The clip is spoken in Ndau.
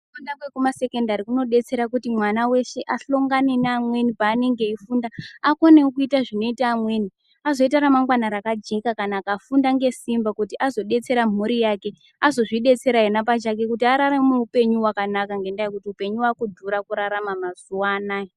Kufunda kwekumasekendari kunodetsera kuti mwana weshe ahlongane neamweni paanenge eifunda. Akonewo kuita zvinoita amweni, azoita ramangwana rakajeka kana akafunda ngesimba, kuti azodetsera mhuri yake, azozvidetsera ena pachake kuti araramevo upenyu wakanaka ngendaa yekuti upenyu waakudhura kurarama mazuwa anaya.